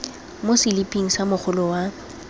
mo seliping sa mogolo wa